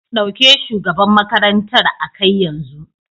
Dauke shugaban makarantar a kai yanzu.